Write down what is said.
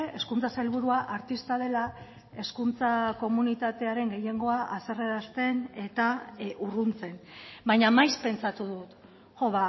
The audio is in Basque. hezkuntza sailburua artista dela hezkuntza komunitatearen gehiengoa haserrerazten eta urruntzen baina maiz pentsatu dut jo